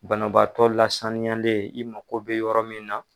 Banabaatɔ lasaniyalen i mako bɛ yɔrɔ min na